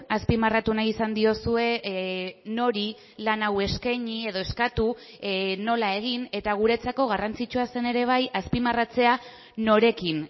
azpimarratu nahi izan diozue nori lan hau eskaini edo eskatu nola egin eta guretzako garrantzitsua zen ere bai azpimarratzea norekin